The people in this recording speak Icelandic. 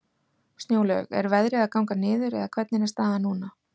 Snjólaug, er veðrið að ganga niður, eða hvernig er staðan núna?